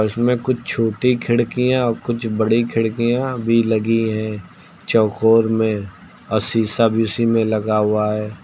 इसमें कुछ छोटी खिड़कियां कुछ बड़ी खिड़कियां भी लगी हैं चौकोर में और शीशा भी उसी में लगा हुआ है।